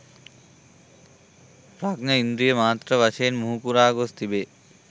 ප්‍රඥා ඉන්ද්‍රිය මාත්‍ර වශයෙන් මුහුකුරා ගොස් තිබේ.